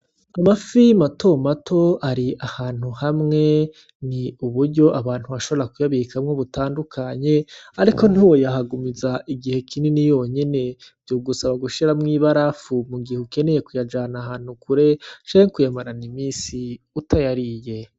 Amafi mato mato ari ahantu hamwe ni uburyo abantu bashobora kuyabikamwo butandukanye ariko ntiwoyahagumiza igihe kinini yonyene vyogusaba gushiramwo ibarafu m'ugihe ukeneye kuyajana ahantu kure canke kuyamarana iminsi utayariye.